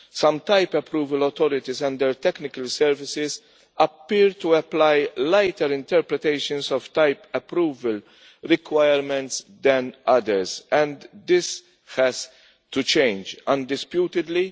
Some type approval authorities and technical services appear to apply lighter interpretations of type approval requirements than others, and this has to change, undisputedly.